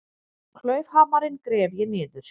Klaufhamarinn gref ég niður.